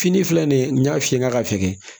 Fini filɛ nin ye n y'a f'i ye n k'a ka fɛgɛn